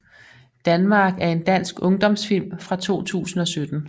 Danmark er en dansk ungdomsfilm fra 2017